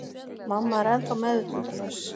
Mamma er ennþá meðvitundarlaus.